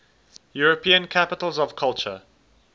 european capitals of culture